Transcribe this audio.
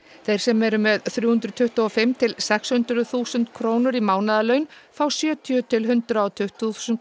þeir sem eru með þrjú hundruð tuttugu og fimm til sex hundruð þúsund krónur í mánaðarlaun fá sjötíu til hundrað og tuttugu þúsund